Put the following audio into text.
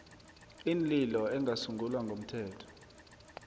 iinlilo engasungulwa ngomthetho